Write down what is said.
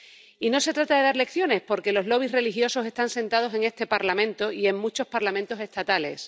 y no se trata de dar lecciones, porque los lobbies religiosos están sentados en este Parlamento y en muchos parlamentos estatales.